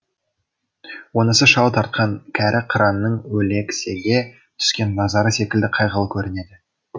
онысы шау тартқан кәрі қыранның өлексеге түскен назары секілді қайғылы көрінеді